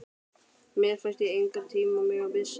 Mér fannst ég engan tíma mega missa.